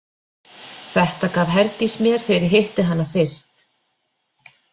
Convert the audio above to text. Þetta gaf Herdís mér þegar ég hitti hana fyrst.